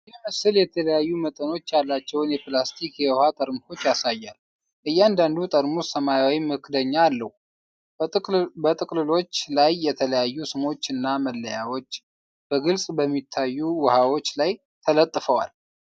ይህ ምስል የተለያዩ መጠኖች ያላቸውን የፕላስቲክ የውሃ ጠርሙሶች ያሳያል። እያንዳንዱ ጠርሙስ ሰማያዊ መክደኛ አለው፣ በጥቅልሎች ላይ የተለያዩ ስሞች እና መለያዎች በግልጽ በሚታዩ ውሃዎች ላይ ተለጥፈዋል።